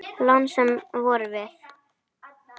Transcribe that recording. Lánsöm vorum við.